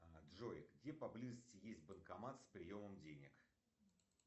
джой где поблизости есть банкомат с приемом денег